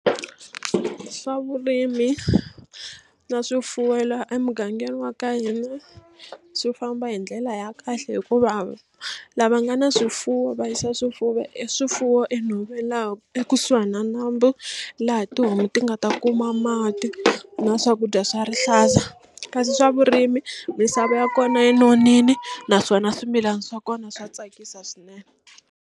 Swa vurimi na swifuwo laha emugangeni wa ka hina swi famba hi ndlela ya kahle hikuva lava nga ni swifuwo va yisa swifuwo e swifuwo enhoveni laha ekusuhana na nambu laha tihomu ti nga ta kuma mati na swakudya swa rihlaza kasi swa vurimi misava ya kona yi nonile naswona swimilana swa kona swa tsakisa swinene.